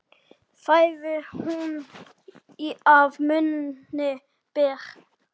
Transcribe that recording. Fæðu hún að munni ber.